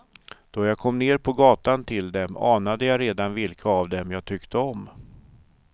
Då jag kom ner på gatan till dem anade jag redan vilka av dem jag tyckte om.